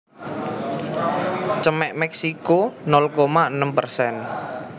Cemex Meksiko nol koma enem persen